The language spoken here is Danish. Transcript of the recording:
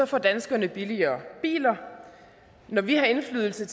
får danskerne billigere biler når vi har indflydelse